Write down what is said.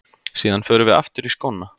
Síðan förum við aftur í skóna.